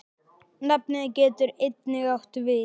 Nafnið getur einnig átt við